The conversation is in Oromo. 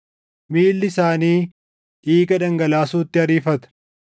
“Miilli isaanii dhiiga dhangalaasuutti ariifata;